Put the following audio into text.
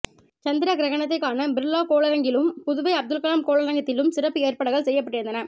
சந்திர கிரகணத்தை காண பிர்லா கோளரங்கிலும் புதுவை அப்துல் கலாம் கோளரங்கத்திலும் சிறப்பு ஏற்பாடுகள் செய்யப்பட்டிருந்தன